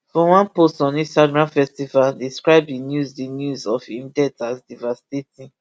for one post on instagram festival describe di news di news of im death as devastating